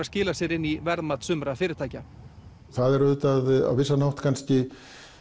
skilað sér inn í verðmat fyrirtækjanna það er auðvitað á vissan hátt kannski